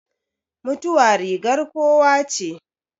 Mutuwa rigar kowa che